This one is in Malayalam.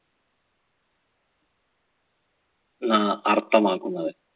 ന്നാ അർത്ഥമാക്കുന്നത്.